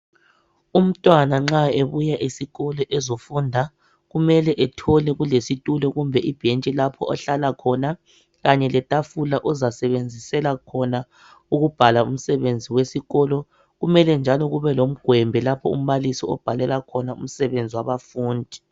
Umntwana, nxa ebuya esikolo ezofunda, kumele ethole kulesitulo kumbe ibhentshi lapho ohlala khona, kanye letafula ozasebenzisela khona ukubhala umsebenzi wesikolo. Kumele njalo kube lomgwembe lapho umbalisi obhalela khona umsebenzi wabafundi.